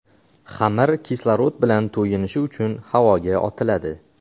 Xamir kislorod bilan to‘yinishi uchun havoga otiladi.